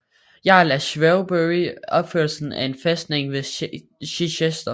Jarl af Shrewsbury opførelsen af en fæstning ved Chichester